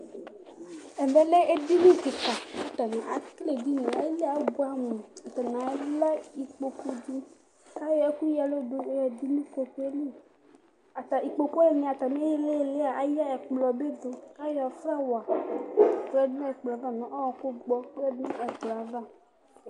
Ɛvɛ lɛ edini kika ku atani akele edini yɛ ayili yɛ abuɛ amu atani alɛ kpokpu di ku ayɔ ɛku ya ɛlu du nu kpokpu yɛ li Kpokpu wani atami ililia alɛ ɛkplɔ bi du ayɔ flawa yɔdu nu ɛkplɔ yɛ ava nu ɔwɔku gbɔ ayadu nu ɛkplɔ yɛ ava